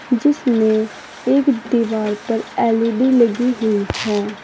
जिसमें एक दीवार पर एल_ई_डी लगी हुई है।